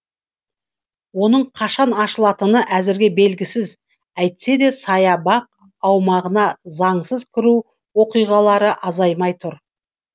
оның қашан ашылатыны әзірге белгісіз әйтсе де саябақ аумағына заңсыз кіру оқиғалары азаймай тұр